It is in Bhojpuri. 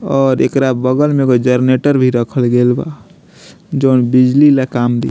और एकरा बगल में एगो जेनेरेटर भी रखल गेल बा जोन बिजली ला काम दी।